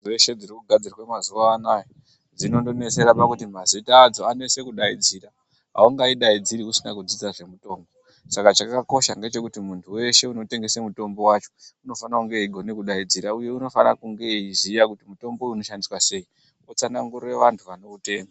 Dzeshe dziri kugadzirwa mazuva anaya dzinonesera kuti mazita adzo anese kudaidzira aungaidaidziri usina kudzidza zvemutombo chakakosha ngechekuti munhu wese anotengesa mutombo wacho unofana kunge achidaidzira uye anofana kunge achiziya kuti unoshandiswa sei nechitsanangurira vanhu vanoutenga.